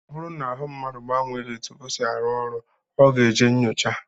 Ọ bụrụ na ahụ mmadụ gbanwee etu ọ si arụ ọrụ, ọ ga-eje nnyocha